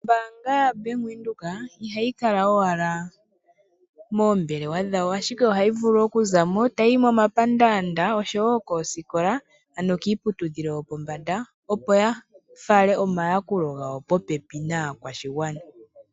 Ombaanga yaVenduka ihayi kala owala moombelewa dhawo ,ashike ohayi vulu okuzamo tayiyi momapandaanda oshowo koosikola ano kiiputudhilo yopombanda opo yafale omayakulo gawo popepi naakwashigwana.